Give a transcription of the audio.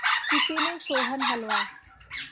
किसी ने सोहन हलवा